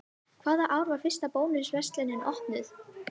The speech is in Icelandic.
Hvaða ár var fyrsta Bónus verslunin opnuð?